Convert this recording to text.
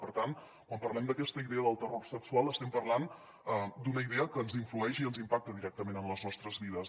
per tant quan parlem d’aquesta idea del terror sexual estem parlant d’una idea que ens influeix i ens impacta directament en les nostres vides